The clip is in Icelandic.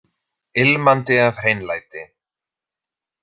Ilmandi af hreinlæti.